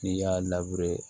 N'i y'a